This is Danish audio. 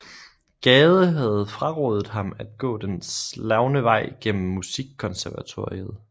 Gade havde frarådet ham at gå den slagne vej gennem Musikkonservatoriet